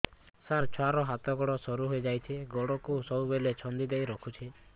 ସାର ଛୁଆର ହାତ ଗୋଡ ସରୁ ହେଇ ଯାଉଛି ଗୋଡ କୁ ସବୁବେଳେ ଛନ୍ଦିଦେଇ ରଖୁଛି